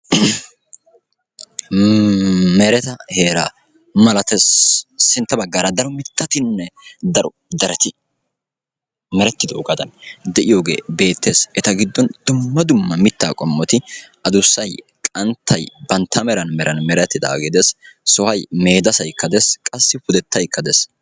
Mereta heeraa malatees. Sintta baggaara daro mittatinne daro dereti meretidoogadan de'iyoogee beettees. Eta giddon dumma dumma mittay qommoti addussay qanttay bantta meran meran merettidaage de'ees. Sohoy meedessaykka des, qassi pudetaykka des.